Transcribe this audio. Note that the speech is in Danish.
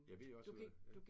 Jeg ved også ude ja